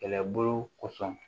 Kɛlɛbolo kosɔn